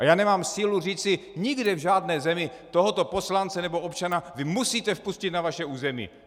A já nemám sílu říci, nikde v žádné zemi - tohoto poslance nebo občana vy musíte vpustit na své území.